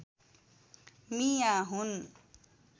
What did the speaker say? मियाँ हुन्